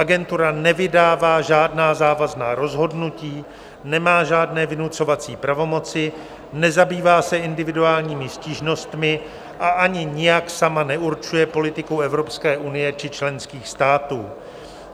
Agentura nevydává žádná závazná rozhodnutí, nemá žádné vynucovací pravomoci, nezabývá se individuálními stížnostmi a ani nijak sama neurčuje politiku EU či členských států.